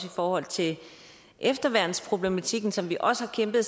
i forhold til efterværnsproblematikken som vi også har kæmpet